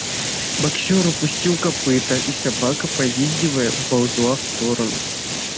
боксёр опустил копыто и собака повизгивая уползла в сторону